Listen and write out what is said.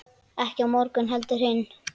Ekki á morgun heldur hinn.